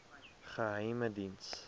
geheimediens